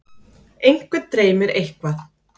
einhvern dreymir eitthvað